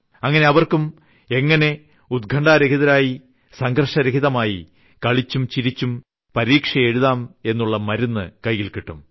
അങ്ങിനെ അവർക്കും എങ്ങിനെ ഉത്ക്കണ്ഠാരഹിതമായി സംഘർഷരഹിതമായി കളിച്ചും ചിരിച്ചും പരീക്ഷ എഴുതാം എന്നുള്ള മരുന്ന് കൈയിൽ കിട്ടും